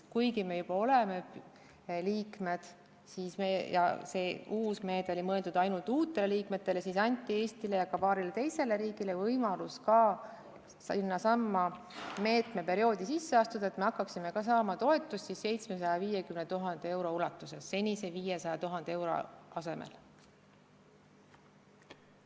Kuigi me juba oleme liikmed ja see uus meede oli mõeldud ainult uutele liikmetele, anti Eestile ja ka paarile teisele riigile võimalus sellesse meetmeperioodi sisse astuda, nii et me hakkaksime ka saama toetust 750 000 eurot senise 500 000 euro asemel.